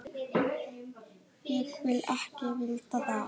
Ég vil ekki vita það.